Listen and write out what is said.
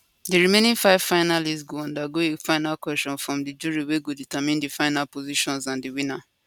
di remaining five finalists go undergo a final question from di jury wey go determine di final positions and di winner